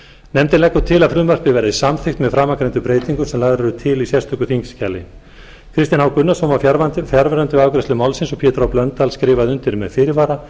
nefndin leggur til að frumvarpið verði samþykkt með framangreindum breytingum sem lagðar eru til í sérstöku þingskjali kristinn h gunnarsson var fjarverandi við afgreiðslu málsins pétur h blöndal skrifar undir með fyrirvara